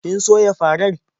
Kin soya farar?